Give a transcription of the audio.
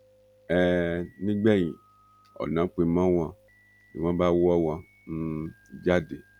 um nígbẹ̀yìn ọ̀nà pin mọ́ wọn ni wọ́n bá wọ́ wọn um jáde